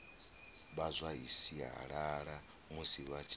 vha zwa sialala musi vha